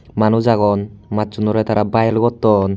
Manuj agon macchunore tara bile gotton.